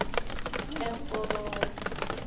emkobolo